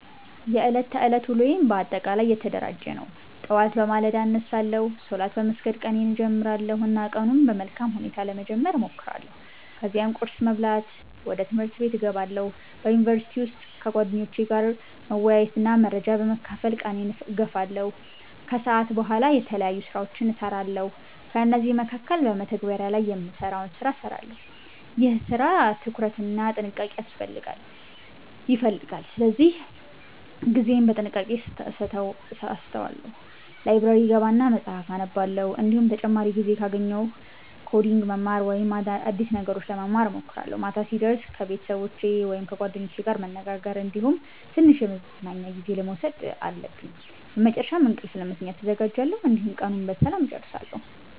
የዕለት ተዕለት ውሎዬ በአጠቃላይ የተደራጀ ነው። ጠዋት በማለዳ እነሳለሁ፣ ሶላት በመስገድ ቀኔን እጀምራለሁ እና ቀኑን በመልካም ሁኔታ ለመጀመር እሞክራለሁ። ከዚያም ቁርስ በመብላት ወደ ትምህርቴ እገባለሁ። በዩኒቨርሲቲ ውስጥ ከጓደኞቼ ጋር መወያየትና መረጃ በመካፈል ቀኔን እገፋለሁ። ከሰዓት በኋላ የተለያዩ ስራዎችን እሰራለሁ፤ ከእነዚህ መካከል በመተግበሪያ ላይ የምሰራውን ሰራ እሰራለሁ። ይህ ስራ ትኩረት እና ጥንቃቄ ይፈልጋል ስለዚህ ጊዜዬን በጥንቃቄ አሰተዋለሁ። ላይብረሪ እገባና መፀሀፍ አነባለሁ፤ እንዲሁም ተጨማሪ ጊዜ ካገኘሁ ኮዲንግ መማር ወይም አዲስ ነገሮች ለመማር እሞክራለሁ። ማታ ሲደርስ ከቤተሰቦቸ ወይም ከጓደኞቼ ጋር መነጋገር እንዲሁም ትንሽ የመዝናኛ ጊዜ መውሰድ አለብኝ። በመጨረሻም እንቅልፍ ለመተኛት እዘጋጃለሁ፣ እንዲሁም ቀኑን በሰላም እጨርሳለሁ።